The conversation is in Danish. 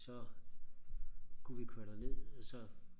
så kunne vi køre derned så